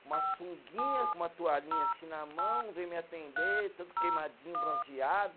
Uma sunguinha, com uma toalhinha assim na mão, veio me atender, todo queimadinho, bronzeado.